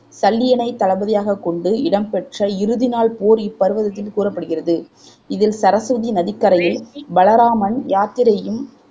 சல்லியனைத் தளபதியாகக் கொண்டு இடம் பெற்ற இறுதிநாள் போர் இப்பர்வதத்தில் கூறப்படுகிறது இதில் சரசுவதி நதிக்கரையில் பலராமன் யாத்திரையும்